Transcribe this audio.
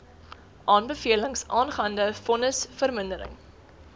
aanbevelings aangaande vonnisvermindering